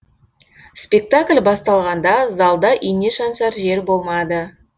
спектакль басталғанда залда ине шаншар жер болмады